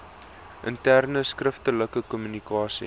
interne skriftelike kommunikasie